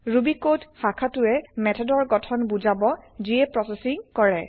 Ruby code শাখাটোই মেথডৰ গঠন বুজাব যিয়ে প্ৰছেচিং কৰে